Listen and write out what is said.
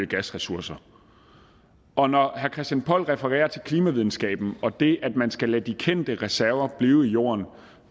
gasressourcer og når herre christian poll refererer til klimavidenskaben og det at man skal lade de kendte reserver blive i jorden